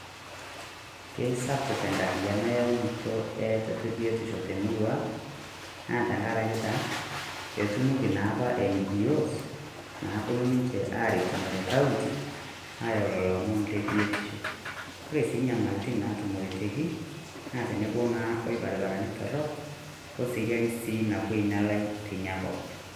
Keisapuk enkarriano eyaunoto ereteto e bitisho te murrua ang', naa tang'araki taa etumooki naa apaa NGO's naponu ninchee aretunore kaunti ayau lolo omoon le biotisho. Kore sii inyamalitin natumoreki naa teneboo naa o lbarabarani torrok oserian sii naipoo naalai tenia nkop.